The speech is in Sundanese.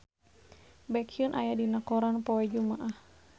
Baekhyun aya dina koran poe Jumaah